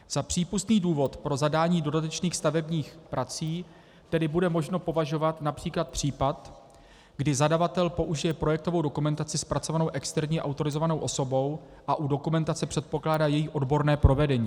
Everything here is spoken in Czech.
Za přípustný důvod pro zadání dodatečných stavebních prací tedy bude možno považovat například případ, kdy zadavatel použije projektovou dokumentaci zpracovanou externí autorizovanou osobou a u dokumentace předpokládá její odborné provedení.